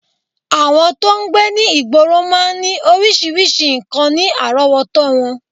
Àwọn tó ń gbé ní ìgboro máa ń ní oríṣiríṣi nǹkan ní àrọ́wọ́tó wọn